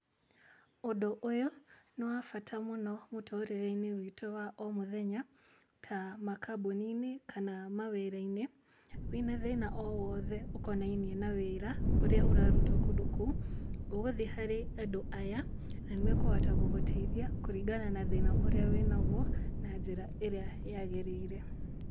Ũndũ ũyũ nĩ wa bata mũno mũtũrĩre-inĩ witũ wa o mũthenya, ta makambuni-inĩ, kana mawĩra-inĩ, wĩna thĩna o wothe ũkonainie na wĩra ũrĩa ũrarutwo kũndũ kũu , ũgũthi harĩ andũ aya, na nĩmekũhota gũgũteithia kũringana na thĩna ũrĩa wĩnaguo, na njĩra ĩrĩa yagĩrĩire.